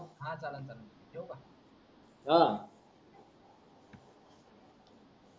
हां चालन चालन ठेऊ का